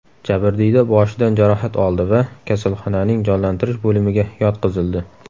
Jabrdiyda boshidan jarohat oldi va kasalxonaning jonlantirish bo‘limiga yotqizildi.